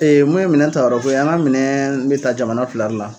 Ee mun ye minɛn tayɔrɔko ye an ga minɛn be taa jamana fila de la